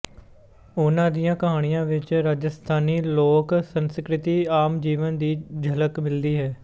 ਉਨ੍ਹਾਂ ਦੀਆਂ ਕਹਾਣੀਆਂ ਵਿੱਚ ਰਾਜਸਥਾਨੀ ਲੋਕ ਸੰਸਕ੍ਰਿਤੀ ਆਮ ਜੀਵਨ ਦੀ ਝਲਕ ਮਿਲਦੀ ਹੈ